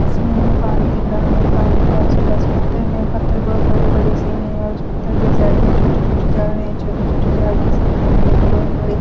इसमें हमें पानी दिख रहा है पानी के आजू-बाजू पत्थन हैं पत्थर बहुत बड़े-बड़े से हैं और उस पत्थर के साइड में छोटी-छोटी झाड़ हैं छोटी-छोटी झाड़ के सामने हमें बहोत बड़े --